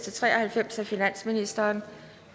og tre og halvfjerds af finansministeren